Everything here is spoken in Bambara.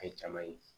A ye jama ye